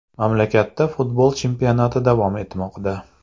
Mamlakatda futbol chempionati davom etmoqda .